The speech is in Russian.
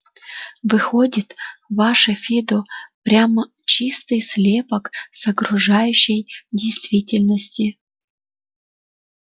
выходит ваше фидо прямо чистый слепок с окружающей действительности